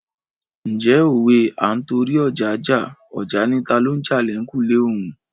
Ǹjẹ́ òwe "À ń torí ọja jà, ọja ni talo ń jà l'ẹ̀kùlé òun "?